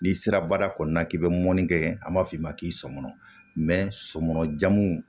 N'i sera baara kɔnɔna na k'i bɛ mɔni kɛ an b'a f'i ma k'i sɔn kɔnɔ sɔmɔnɔ jamuw